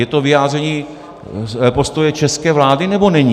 Je to vyjádření postoje české vlády, nebo není?